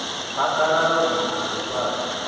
phaḓalala u mona na ḽifhasi